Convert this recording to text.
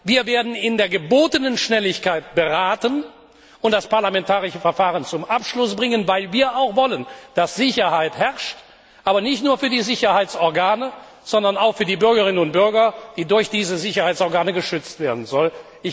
Wir werden mit der gebotenen Schnelligkeit beraten und das parlamentarische Verfahren zum Abschluss bringen, weil wir wollen, dass Sicherheit herrscht, aber nicht nur für die Sicherheitsorgane, sondern auch für die Bürgerinnen und Bürger, die durch diese Sicherheitsorgane geschützt werden sollen.